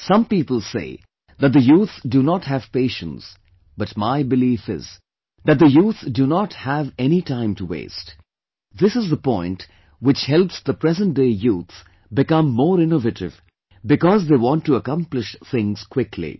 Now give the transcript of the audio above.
Some people say that the youth do not have patience but my belief is that the youth do not have any time to waste this is the point which helps the present day youth become more innovative because they want to accomplish things quickly